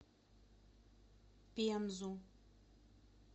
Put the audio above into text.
пензу